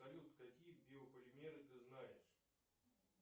салют какие биополимеры ты знаешь